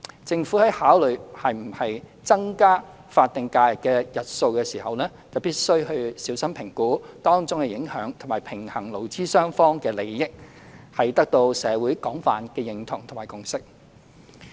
政府在考慮是否增加法定假日的日數時，必須小心評估當中影響及平衡勞資雙方的利益，取得社會廣泛的認同及共識。